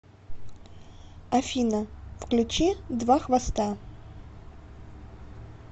афина включи два хвоста